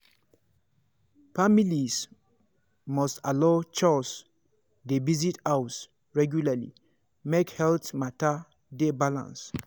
families must allow chws dey visit house regularly make health matter dey balanced.